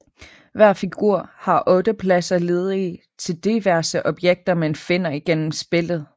Hver figur har 8 pladser ledige til diverse objekter man finder igennem spillet